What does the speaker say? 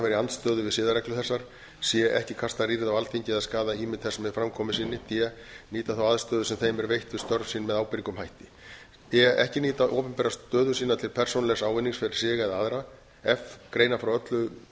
í andstöðu við siðareglur þessar c ekki kasta rýrð á alþingi eða skaða ímynd þess með framkomu sinni d nýta þá aðstöðu sem þeim er veitt við störf sín með ábyrgum hætti e ekki nýta opinbera stöðu sína til persónulegs ávinnings fyrir sig eða aðra f greina frá öllum